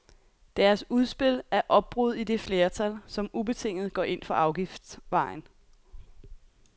Deres udspil er opbrud i det flertal, som ubetinget går ind for afgiftsvejen.